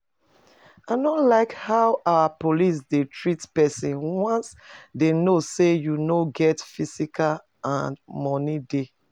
I no like how our police dey treat person once they know say you no get physical and money dey